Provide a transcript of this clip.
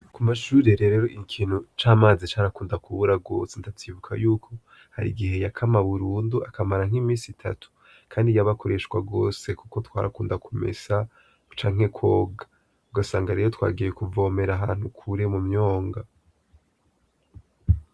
Amashure rero ikintu c'amazi carakunda kubura gose, ndavyibuka yuko harigihe yakama Burundu akamara nkimisi itatu, kandi yabakoreshwa gose kuko twarakunda kumesa ,canke twoga ugasanga rero twagiye kuvoma ahantu Kure mumyonga.